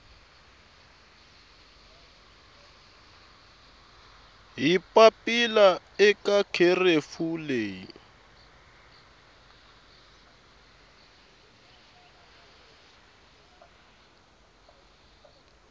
hi papila eka kherefu leyi